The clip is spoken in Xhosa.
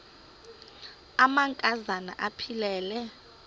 amanka zana aphilele